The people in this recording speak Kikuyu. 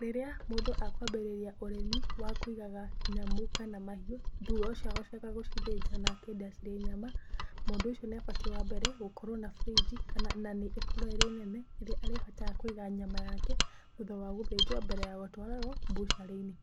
Rĩrĩa mũndũ akwambĩriria ũrĩmi wa kũigaga nyamũ kana mahiũ thutha ũcio akanjia gũcithinja na akendia cirĩ nyama, mũndũ ũcio nĩ abatiĩ wa mbere gũkorwo na fridge kana na nĩ ikorwo ĩrĩ nene ĩria arĩhotaga kũiga nyama yake thutha wa gũthinjwo mbere a gũtwarwo mbucarĩ-inĩ.